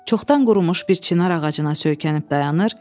Çoxdan qurumuş bir çinar ağacına söykənib dayanır.